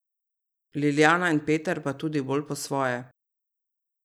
Liljana in Peter pa tudi bolj po svoje.